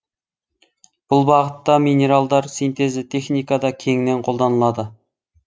бұл бағытта минералдар синтезі техникада кеңінен қолданылады